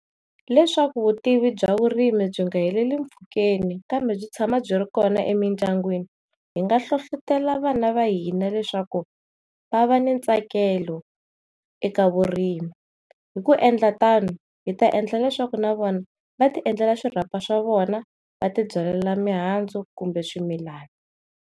Leswaku vutivi bya vurimi byi nga heleli mpfhukeni kambe byi tshama byi ri kona emindyangwini hi nga nhlohlotelo vana va hina leswaku va va ni ntsakelo eka vurimi hi ku endla tano hi ta endla leswaku na vona vati endlela swirapha swa vona va tibyalela mihandzu kumbe swimilana.